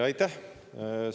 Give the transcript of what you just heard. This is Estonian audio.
Aitäh!